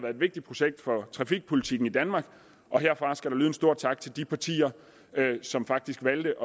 et vigtigt projekt for trafikpolitikken i danmark og herfra skal der lyde en stor tak til de partier som faktisk valgte